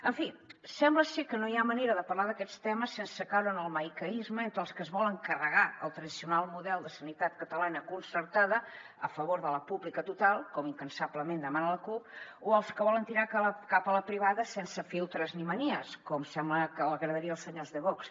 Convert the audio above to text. en fi sembla ser que no hi ha manera de parlar d’aquests temes sense caure en el maniqueisme entre els que es volen carregar el tradicional model de sanitat catalana concertada a favor de la pública total com incansablement demana la cup o els que volen tirar cap a la privada sense filtres ni manies com sembla que agradaria als senyors de vox